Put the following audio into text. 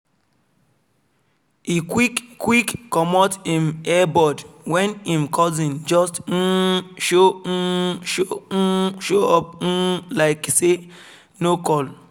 e quick quick comot him earbud when him cousin just um show um show up um like say e no call